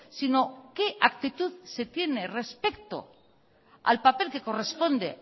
sino qué actitud se tiene respecto al papel que corresponde